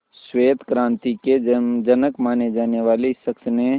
श्वेत क्रांति के जनक माने जाने वाले इस शख्स ने